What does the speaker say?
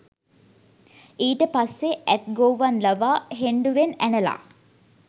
ඊට පස්සෙ ඇත් ගොව්වන් ලවා හෙණ්ඩුවෙන් ඇනලා